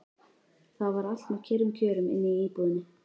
Það var allt með kyrrum kjörum inni í íbúðinni.